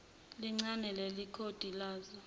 ligcine ilekhodi lazo